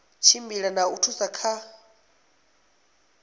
tshimbidza na u thusa kha